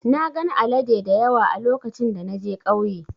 Na gan alade dayawa a lokacin da na je kauye.